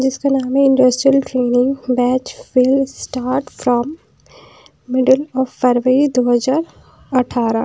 जिसका नाम है industrial training batch will start from middle of February दो हजार अठारा--